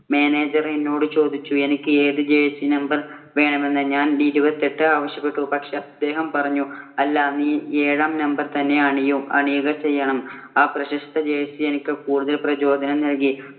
manager എന്നോട് ചോദിച്ചു, എനിക്ക് ഏത് jersey number വേണമെന്ന്. ഞാൻ ഇരുപത്തിയെട്ട് ആവശ്യപ്പെട്ടു. പക്ഷേ, അദ്ദേഹം പറഞ്ഞു, ‘അല്ല, നീ ഏഴാം number തന്നെ അണിയും'. ആ പ്രശസ്ത jersey എനിക്ക് കൂടുതൽ പ്രചോദനം നൽകി.